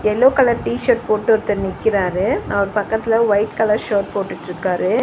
Yellow colour t-shirt போட்டு ஒருத்தர் நிக்கிறாரு அவர் பக்கத்ல வைட் கலர் ஷெர்ட் போட்டுட்டுருக்காரு.